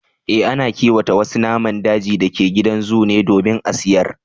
Eh, ana kiwata wasu naman dajin da ke gidan zoo ne domin a sayar